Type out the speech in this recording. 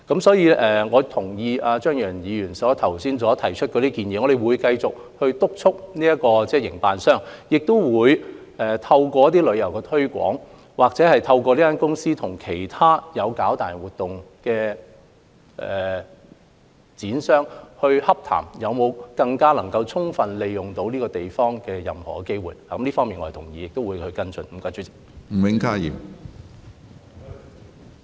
所以，我同意張宇人議員剛提出的建議，我們會繼續督促營運商，亦會透過旅遊推廣，又或是透過營運商與其他營辦大型活動的商戶洽談，以拓展任何能夠更充分利用這個地方的機會，我們會繼續跟進這方面的工作。